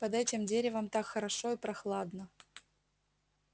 под этим деревом так хорошо и прохладно